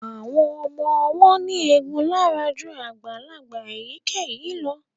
Àwọn ọmọ ọwọ́ ní egun lára ju àgbàlagbà ènìyàn lọ